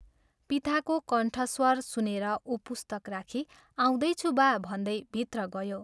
पिताको कण्ठश्वर सुनेर उ पुस्तक राखी " आउँदैछु बा " भन्दै भित्र गयो।